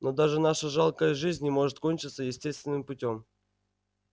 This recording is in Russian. но даже наша жалкая жизнь не может кончиться естественным путём